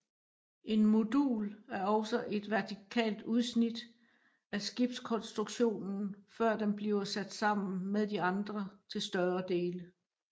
En modul er også et vertikalt udsnit af skibskonstruktionen før den bliver sat sammen med de andre til større dele